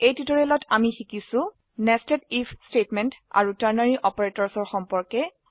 এই টিউটোৰিয়েলত আমি শিকিছো160 Nested If স্টেটমেন্ট আৰু টাৰ্নাৰী অপাৰেটৰ্ছ সম্পৰ্কে